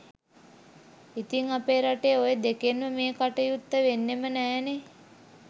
ඉතිං අපේ රටේ ඔය දෙකෙන්ම මේ කටයුත්ත වෙන්නෙම නෑනේ